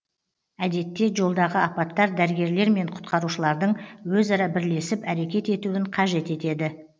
әдетте жолдағы апаттар дәрігерлер мен құтқарушылардың өзара бірлесіп әрекет етуін қажет етеді